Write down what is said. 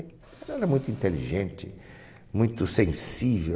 Ela era muito inteligente, muito sensível.